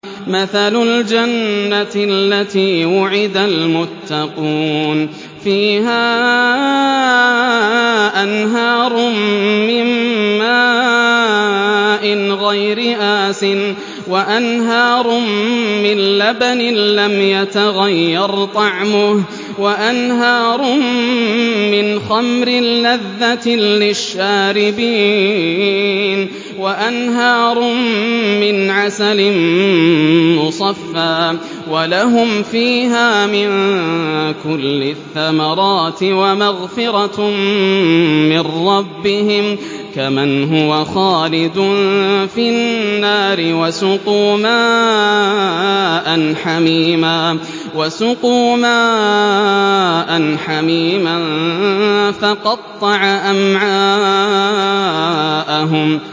مَّثَلُ الْجَنَّةِ الَّتِي وُعِدَ الْمُتَّقُونَ ۖ فِيهَا أَنْهَارٌ مِّن مَّاءٍ غَيْرِ آسِنٍ وَأَنْهَارٌ مِّن لَّبَنٍ لَّمْ يَتَغَيَّرْ طَعْمُهُ وَأَنْهَارٌ مِّنْ خَمْرٍ لَّذَّةٍ لِّلشَّارِبِينَ وَأَنْهَارٌ مِّنْ عَسَلٍ مُّصَفًّى ۖ وَلَهُمْ فِيهَا مِن كُلِّ الثَّمَرَاتِ وَمَغْفِرَةٌ مِّن رَّبِّهِمْ ۖ كَمَنْ هُوَ خَالِدٌ فِي النَّارِ وَسُقُوا مَاءً حَمِيمًا فَقَطَّعَ أَمْعَاءَهُمْ